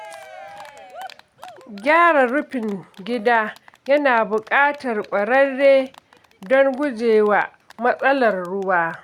Gyara rufin gida yana buƙatar ƙwararre don gujewa matsalar ruwa.